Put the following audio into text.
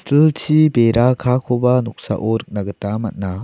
silchi bera kaakoba noksao nikna gita man·a.